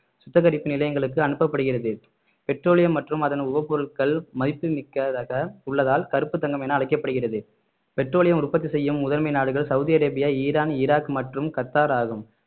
சுத்திகரிப்பு நிலையங்களுக்கு அனுப்பப்படுகிறது பெட்ரோலியம் மற்றும் அதன் உபப்பொருட்கள் மதிப்பு மிக்கதாக உள்ளதால் கருப்பு தங்கம் என அழைக்கப்படுகிறது பெட்ரோலியம் உற்பத்தி செய்யும் முதன்மை நாடுகள் சவுதி அரேபியா ஈரான் ஈராக் மற்றும் கத்தார் ஆகும்